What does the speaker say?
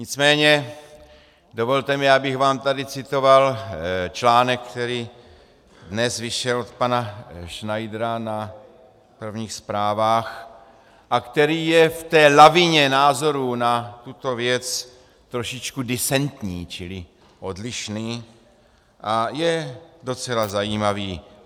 Nicméně dovolte mi, abych vám tady citoval článek, který dnes vyšel od pana Schneidera na prvních zprávách a který je v té lavině názorů na tuto věc trošičku disentní, čili odlišný, a je docela zajímavý.